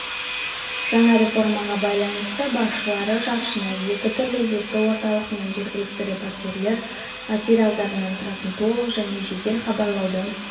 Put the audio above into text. жаңа реформаға байланысты басшылары жаршыны екі түрлі етті орталық мен жергілікті репортерлер материалдарынан тұратын толық және жедел хабарлауды